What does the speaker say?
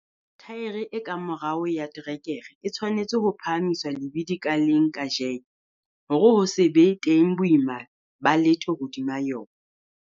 Thaere e ka morao ya terekere e tshwanetse ho phahamiswa lebidi ka leng ka jeke hore ho se be teng boima ba letho hodima yona.